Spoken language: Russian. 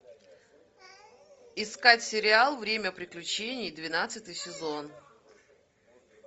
искать сериал время приключений двенадцатый сезон